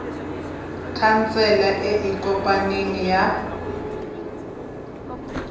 khansele e e kopaneng ya